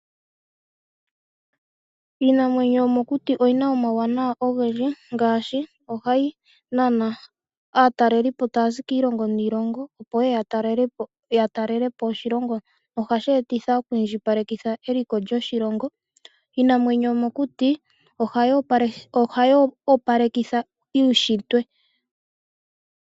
Iinamwenyo yo mokuti oyina omauwanawa ogendji, ngaashi ohayi nana aatalelipo taya zi kiilongo niilongo opo yeye ya talelepo oshilongo. Ohashi etitha oku indjipaleka eliko lyoshilongo. Iinamwenyo yo mokuti ohayi opalekitha uushitwe.